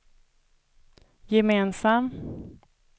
gemensam